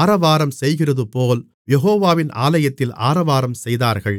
ஆரவாரம் செய்கிறதுபோல் யெகோவாவின் ஆலயத்தில் ஆரவாரம் செய்தார்கள்